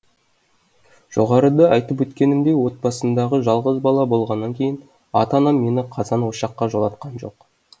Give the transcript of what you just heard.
жоғарыда айтып өткенімдей отбасындағы жалғыз бала болғаннан кейін ата анам мені қазан ошаққа жолатқан жоқ